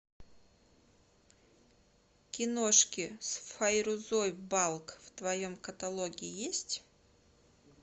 киношки с файрузой балк в твоем каталоге есть